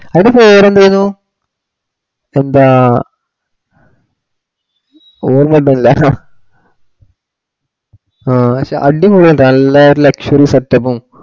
അവിടെ വേറെന്തെഞ്ഞു എന്താ ഓർമ്മകിട്ടണില്ല ആ ഷേ അടിപൊളിയെന്നുട്ടാ നല്ല ഒരു luxurysetup ഉം